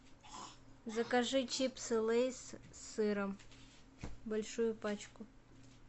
закажи чипсы лейс с сыром большую пачку